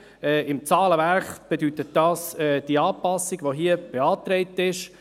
Im Zahlenwerk bedeutet dies die Anpassung, die hier beantragt ist.